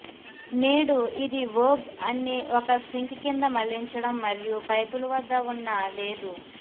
నేడు ఇది వోగ్ అన్ని ఒక సింక్ కింద మళ్లించడం మరియు పైపులు వద్ద ఉన్న లేదు